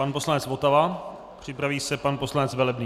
Pan poslanec Votava, připraví se pan poslanec Velebný.